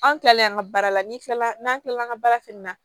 An kilalen an ka baara la n'i kilala n'an kilala an ka baara fɛnɛ na